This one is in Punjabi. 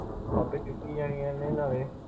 ਆਪੇ ਚੁੱਕੀ ਜਾਣੀਆਂ।